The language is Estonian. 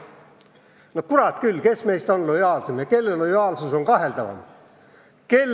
No kurat küll, kes meist on lojaalsem ja kelle lojaalsus on kaheldavam?!